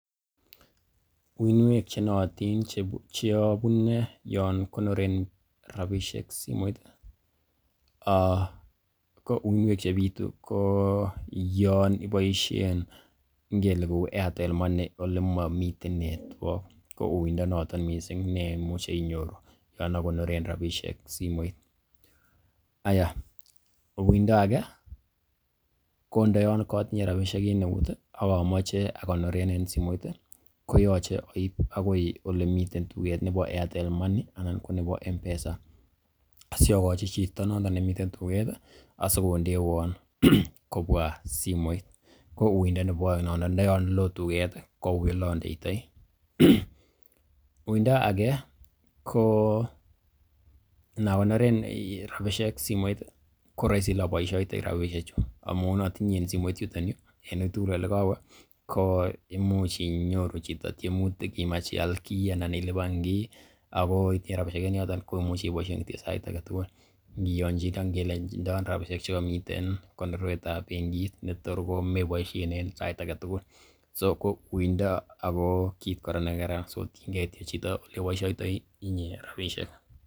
Uinwek che nootin che abune yon konoren rabisiek simoit ko uinwek chebitu koyon iboisien ngele kou Aitel MOney ole momiten network kouiy inonoto mising memuche inyoru yon okoneren rabishek simoit. Aiyah uindo age, ko ndoyon kotinye rabishek en eut ak amoche agonoren en simoit koyoche aib agoi olemiten tuget nebo Airtle Money anan ko nebo M-Pesa asi ogochi chito noton nebo tuget asikondewon kobwa simoit kouindo nebo oeng nono ndoyon lo tuget ko uiy ole ondeitoi, uindo age ko iinakonoren rabishek simoit ko roisi ole aboisiotoi rabisheju amun otinye en simoit yuton en uitugul ole kowe koimuch inyoru chito tiemutik imach ial kiy anan ilipan kiy ago itinye rabishek en yoton koimuch ibosien rabishek chuton sait age tugul ngiyonchine ak rabishek che komiten konorwet ab benki netor komeboisien sait age tugul. So ko uindo ago kit kora nekaran so tienge chito ole iboisioitoi inye rabishek.